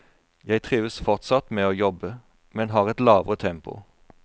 Jeg trives fortsatt med å jobbe, men har et lavere tempo.